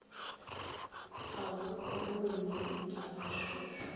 ga bo rone nta mašošo